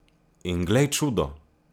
In glej čudo!